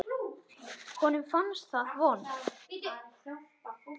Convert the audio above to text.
Honum fannst það vont.